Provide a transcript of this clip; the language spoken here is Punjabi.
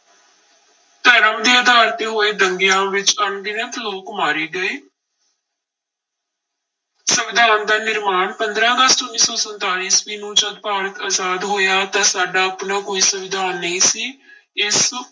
ਧਰਮ ਦੇ ਆਧਾਰ ਤੇ ਹੋਏ ਦੰਗਿਆਂ ਵਿੱਚ ਅਣਗਿਣਤ ਲੋਕ ਮਾਰੇ ਗਏ ਸੰਵਿਧਾਨ ਦਾ ਨਿਰਮਾਣ, ਪੰਦਰਾਂ ਅਗਸਤ ਉੱਨੀ ਸੌ ਸੰਤਾਲੀ ਈਸਵੀ ਨੂੰ ਜਦ ਭਾਰਤ ਆਜ਼ਾਦ ਹੋਇਆ ਤਾਂ ਸਾਡਾ ਆਪਣਾ ਕੋਈ ਸੰਵਿਧਾਨ ਨਹੀਂ ਸੀ ਇਸ